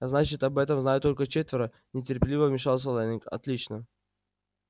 значит об этом знают только четверо нетерпеливо вмешался лэннинг отлично